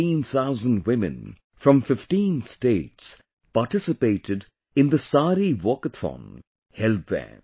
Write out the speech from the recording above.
15,000 women from 15 states participated in the 'Saree Walkathon' held there